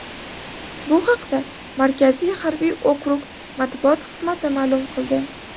Bu haqda Markaziy harbiy okrug Matbuot xizmati ma’lum qildi.